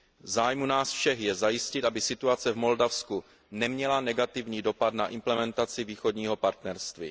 V zájmu nás všech je zajistit, aby situace v Moldavsku neměla negativní dopad na implementaci Východního partnerství.